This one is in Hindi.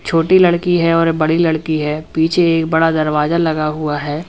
छोटी लड़की है और बड़ी लड़की है पीछे एक बड़ा दरवाजा लगा हुआ है।